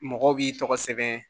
Mɔgɔw b'i tɔgɔ sɛbɛn